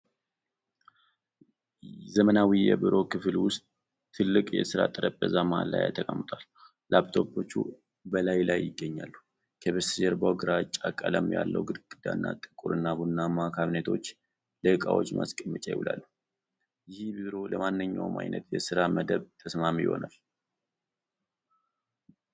ዘመናዊ የቢሮ ክፍል ውስጥ ትልቅ የሥራ ጠረጴዛ መሃል ላይ ተቀምጧል። ላፕቶፕ በላዩ ላይ ይገኛል። ከበስተጀርባው ግራጫ ቀለም ያለው ግድግዳና ጥቁር እና ቡናማ ካቢኔቶች ለዕቃዎች ማስቀመጫ ይውላሉ። ይህ ቢሮ ለማንኛውም አይነት የሥራ መደብ ተስማሚ ይሆናልን?